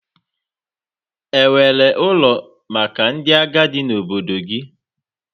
Enwere ụlọ maka ndị agadi na obodo gị?